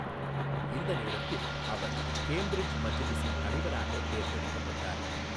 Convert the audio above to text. இந்த நேரத்தில், அவர் கேம்பிரிட்ஜ் மஜ்லிஸின் தலைவராக தேர்ந்தெடுக்கப்பட்டார்.